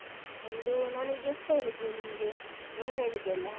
ಒಂದು ನಾನೀಗ ಎಷ್ಟು ಹೇಳಿದ್ದೆ ನಿಮ್ಗೆ ಏಳು ಹೇಳಿದ್ದೆ ಅಲಾ?